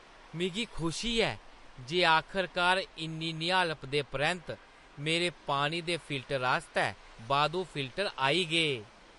मिगी खुशी ऐ जे आखरकार इन्नी मती निहालप दे परैंत्त मेरे पानी दे फिल्टर आस्तै बाद्धू फिल्टर आई गे।